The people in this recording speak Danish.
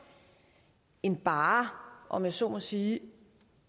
end bare om jeg så må sige